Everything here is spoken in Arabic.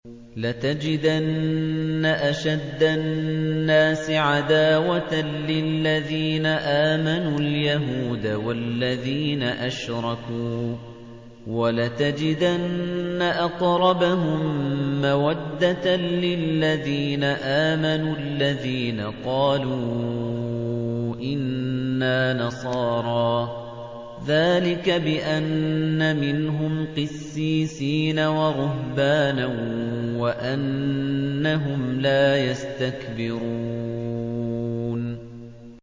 ۞ لَتَجِدَنَّ أَشَدَّ النَّاسِ عَدَاوَةً لِّلَّذِينَ آمَنُوا الْيَهُودَ وَالَّذِينَ أَشْرَكُوا ۖ وَلَتَجِدَنَّ أَقْرَبَهُم مَّوَدَّةً لِّلَّذِينَ آمَنُوا الَّذِينَ قَالُوا إِنَّا نَصَارَىٰ ۚ ذَٰلِكَ بِأَنَّ مِنْهُمْ قِسِّيسِينَ وَرُهْبَانًا وَأَنَّهُمْ لَا يَسْتَكْبِرُونَ